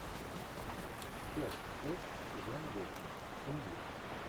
часть шесть сезона восемь семьи